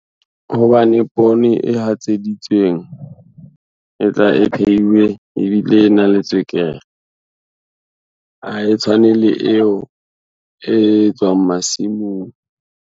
Hobane poone e hatseditsweng e tla e phehiwe ebile e na le tswekere, ha e tshwane le eo e tswang masimong.